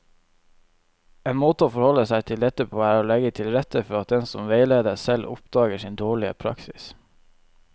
En måte å forholde seg til dette på er å legge til rette for at den som veiledes, selv oppdager sin dårlige praksis.